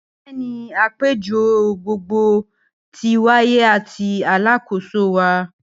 Bẹẹni, apejọ gbogbogbo ti waye ati Alakoso wa